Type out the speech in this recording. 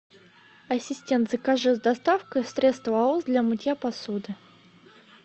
ассистент закажи с доставкой средство аос для мытья посуды